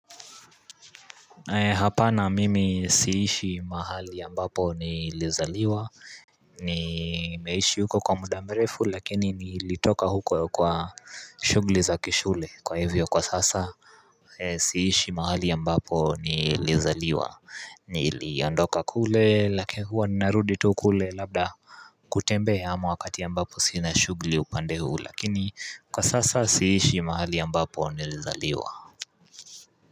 Hapa na mimi siishi mahali ambapo nilizaliwa ni meishi huko kwa muda mrefu lakini nilitoka huko kwa shughuli za kishule kwa hivyo kwa sasa siishi mahali ambapo nilizaliwa niliondoka kule lakini huwa ninarudi tu kule labda kutembea ama wakati ambapo sina shughuli upande huu lakini kwa sasa siishi mahali ambapo nilizaliwa.